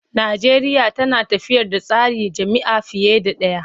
Najeriya tana tafiyar da tsarin jam'iyya fiye da ɗaya.